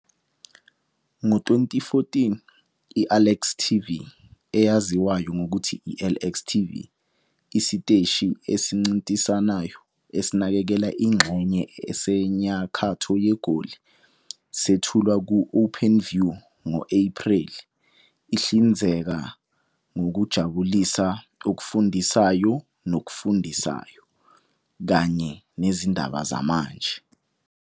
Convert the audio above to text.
Ngo-2014, i-Alex TV, eyaziwa nangokuthi i-LX TV, isiteshi esincintisanayo esinakekela ingxenye esenyakatho yeGoli sethulwa ku-Openview ngo-Ephreli ihlinzeka ngokuzijabulisa okufundisayo nokufundisayo kanye nezindaba zamanje.